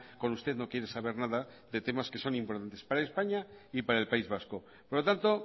con usted no quiere saber nada de temas que son importantes para españa y para el país vasco por lo tanto